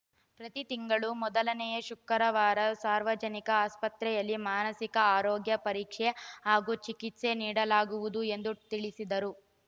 ಪ್ರತಿ ತಿಂಗಳು ಮೊದಲನೆ ಶುಕ್ರವಾರ ಸಾರ್ವಜನಿಕ ಆಸ್ಪತ್ರೆಯಲ್ಲಿ ಮಾನಸಿಕ ಆರೋಗ್ಯ ಪರೀಕ್ಷೆ ಹಾಗೂ ಚಿಕಿತ್ಸೆ ನೀಡಲಾಗುವುದು ಎಂದು ತಿಳಿಸಿದರು